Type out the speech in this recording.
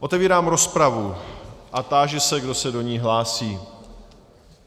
Otevírám rozpravu a táži se, kdo se do ní hlásí.